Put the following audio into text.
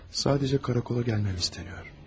Sadəcə karakola gəlməyim istənilir.